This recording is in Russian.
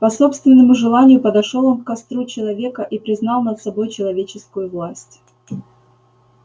по собственному желанию подошёл он к костру человека и признал над собой человеческую власть